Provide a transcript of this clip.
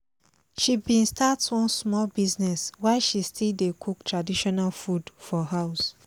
she been start one small business while she still dey cook traditional food for house